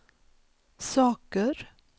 saker